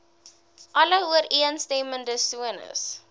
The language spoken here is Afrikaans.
alle ooreenstemmende sones